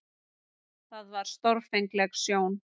Það var stórfengleg sjón.